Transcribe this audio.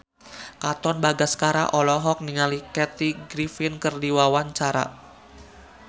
Katon Bagaskara olohok ningali Kathy Griffin keur diwawancara